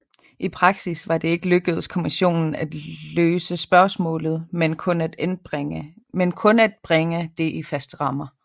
I praksis var det ikke lykkedes kommissionen at løse spørgsmålet men kun at bringe det i faste rammer